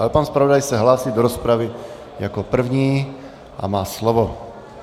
Ale pan zpravodaj se hlásí do rozpravy jako první a má slovo.